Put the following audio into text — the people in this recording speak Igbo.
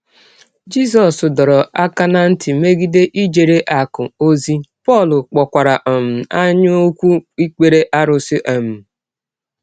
Jisọs dọrọ aka ná ntị megide ijere “ akụ̀ ” ozi, Pọl kpọkwara um anyaụkwu ikpere arụsị. um